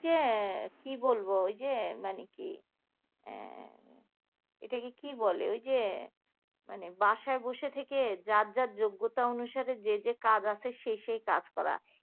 এ কি বলবো? এই যে মানে কি? এটাকে কি বলে ওই যে মানে বাসায় বসে থেকে যার যার যোগ্যতা অনুসারে যে যে কাজ আছে সেই সেই কাজ করা